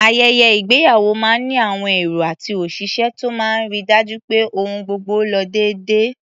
Ayẹyẹ ìgbéyàwó máa ń ní àwọn èrò àti òṣìṣẹ́ tó máa ń ri dájú pé ohun gbogbo lo déédé.